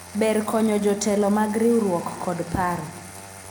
ber konyo jotelo mag riwruok kod paro